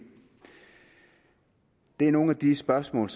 er nogle af de spørgsmål